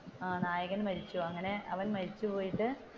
ആഹ് നായകൻ മരിക്കും അവൻ മരിച്ചുപോയിട്ടു,